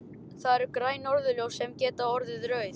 Það eru græn norðurljós sem geta orðið rauð.